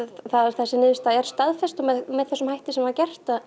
þessi niðurstaða er staðfest með þessum hætti sem var gert